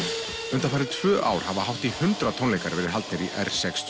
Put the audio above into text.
undanfarin tvö ár hafa hátt í hundrað tónleikar verið haldnir í r sex